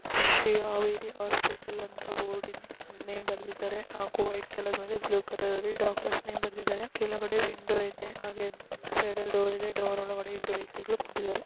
Shri Haveri hospital ಅಂತ board in name ಬರ್ದಿದಾರೆ ಹಾಗು ವೈಟ್ ಕಲರ್ ಮೇಲೆ ಬ್ಲೂ ಕಲರ್ ಅಲ್ಲಿ ಡಾಕ್ಟರ್ಸ್ ನೇಮ್ ಬರೆದಿದ್ದಾರೆ. ಕೆಳಗಡೆ ವಿಂಡೋ ಇದೆ. ಹಾಗೆ ಸೈಡ್ ಅಲ ಡೋರ್ ಇದೆ. ಡೋರ್ ಒಲ್ಗಡೆ ಇಬ್ಬರು ವ್ಯಕ್ತಿಗಳು ಕೂತಿದ್ದಾರೆ.